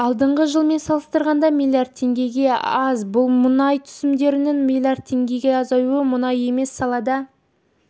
алдыңғы жылмен салыстырғанда миллиард теңгеге аз бұл мұнай түсімдерінің миллиард теңгеге азаюы мұнай емес саладан